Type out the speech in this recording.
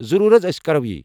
ضرور حز، ٲسۍ کرَو یی۔